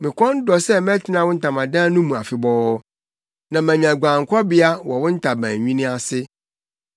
Me kɔn dɔ sɛ metena wo ntamadan no mu afebɔɔ na manya guankɔbea wɔ wo ntaban nwini ase.